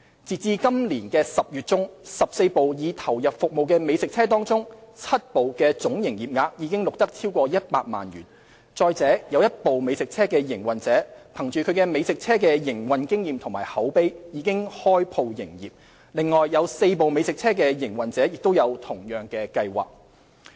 截至今年10月中 ，14 部已投入服務的美食車中 ，7 部的總營業額已錄得超過100萬元；再者有一部美食車的營運者憑藉美食車的營運經驗及口碑，已開鋪營業，另有4部美食車的營運者亦有同樣計劃。